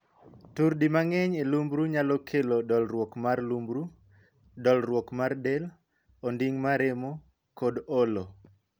Tur di mang'eny e lumbru nyalo kelo dolruok mar lumbru, dolruok mar del, onding' maremo, kod olo.